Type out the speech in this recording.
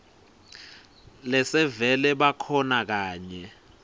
lesevele bakhona kanye